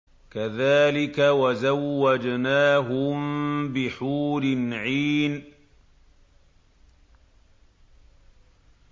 كَذَٰلِكَ وَزَوَّجْنَاهُم بِحُورٍ عِينٍ